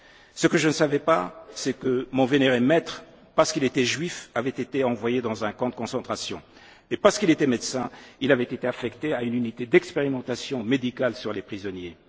Klein. Ce que je ne savais pas, c'est que mon vénéré maître, parce qu'il était juif, avait été envoyé dans un camp de concentration, et parce qu'il était médecin, il avait été affecté à une unité d'expérimentation médicale sur les prisonniers.